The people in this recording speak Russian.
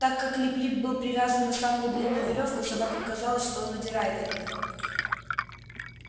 так как лип лип был привязан на самую длинную верёвку собакам казалось что он удирает от них